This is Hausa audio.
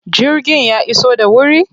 Jirgin ya iso da wuri?